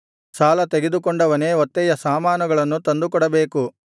ಸಾಲತೆಗೆದುಕೊಂಡವನೇ ಒತ್ತೆಯ ಸಾಮಾನುಗಳನ್ನು ತಂದುಕೊಡಬೇಕು